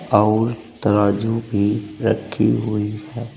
और तराजू भी रखी हुई है।